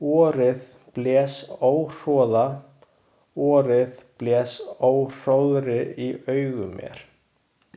Vorið blés óhroða, vorið blés óhróðri í augu mér.